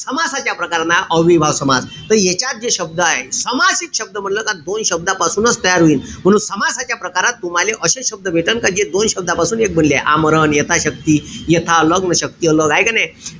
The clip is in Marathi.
समासाच्या प्रकाराला अव्ययीभाव समास . त यांच्यात जे शब्द आहे. सामासिक शब्द म्हंटल का दोन शब्दापासूनच तयार होईन. समासाच्या प्रकारात तुम्हाले अशे शब्द भेटन का जे दोन शब्दापासून एक बनलेय. आमरण, यथाशक्ती, यथा अन शक्ती हाये का नाई?